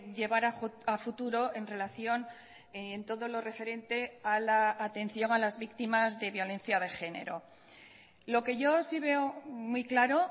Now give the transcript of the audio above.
llevar a futuro en relación en todo lo referente a la atención a las víctimas de violencia de género lo que yo sí veo muy claro